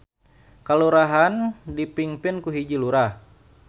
Kalurahan dipingpin ku hiji Lurah.